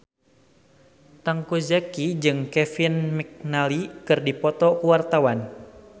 Teuku Zacky jeung Kevin McNally keur dipoto ku wartawan